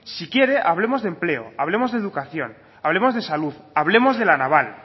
si quiere hablemos de empleo hablemos de educación hablemos de salud hablemos de la naval